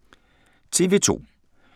TV 2